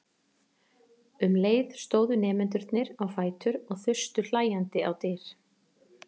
Um leið stóðu nemendurnir á fætur og þustu hlæjandi á dyr.